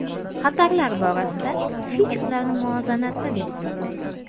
Xatarlar borasida Fitch ularni muvozanatda deb hisoblaydi.